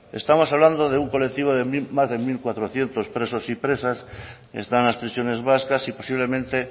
estamos hablando de un colectivo de más de mil cuatrocientos presos y presas están en las prisiones vascas y posiblemente